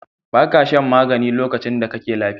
Ba ka shan magani lokacin da kake lafiya.